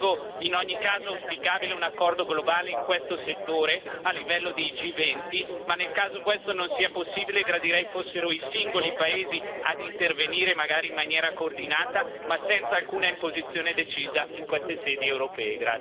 Ritengo, in ogni caso, auspicabile un accordo globale in questo settore a livello di G20 ma, nel caso questo non sia possibile, gradirei fossero i singoli paesi ad intervenire, magari in maniera coordinata, ma senza alcuna imposizione decisa in queste sedi europee.